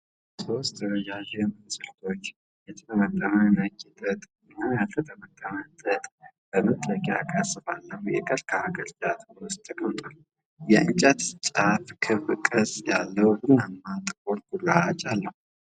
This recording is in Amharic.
ሶስት ረዣዥም እንዝርቶች የተጠመጠመ ነጭ ጥጥ እና ያልተጠመጠመ ጥጥ በመጠቅለያ ቅርጽ ባለው የቀርከሃ ቅርጫት ውስጥ ተቀምጠዋል። የእንጨቶቹ ጫፍ ክብ ቅርጽ ያለው ቡናማና ጥቁር ቁራጭ አለው።